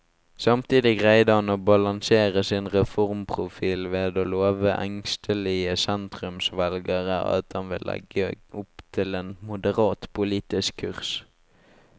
Samtidig greide han å balansere sin reformprofil ved å love engstelige sentrumsvelgere at han vil legge opp til en moderat politisk kurs.